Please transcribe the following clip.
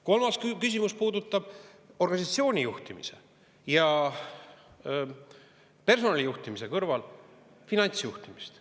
Kolmas küsimus puudutab organisatsiooni juhtimise ja personali juhtimise kõrval finantsjuhtimist.